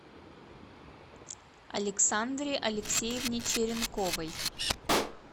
александре алексеевне черенковой